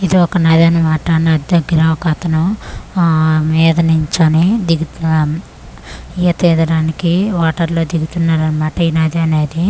ఇది ఒక నది అన్న మాట నది దగ్గర ఒక అతను ఆ మీద నించోనీ దిగుతు ఆ ఈత ఈదడానికి వాటర్ లో దిగుతున్నాడు అన్న మాట ఈ నది అనేది.